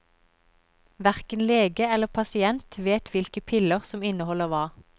Hverken lege eller pasient vet hvilke piller som inneholder hva.